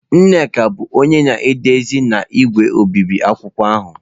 Nneka bụ onye na-edezi na igwe obibi akwụkwọ ahụ.